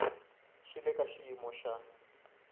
swi le ka xiyimo xa